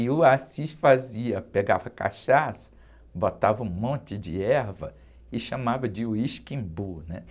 E o Assis fazia, pegava cachaça, botava um monte de erva e chamava de uísque embu, né?